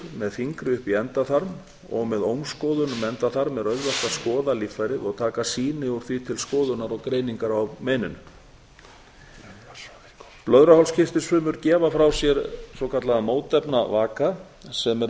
með fingri upp í endaþarm og með ómskoðun um endaþarm er auðvelt að skoða líffærið og taka sýni úr því til skoðunar og greiningar á meininu blöðruhálskirtilsfrumur gefa frá sér svokallaðan mótefnavaka sem er